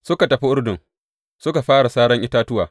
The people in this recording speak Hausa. Suka tafi Urdun suka fara saran itatuwa.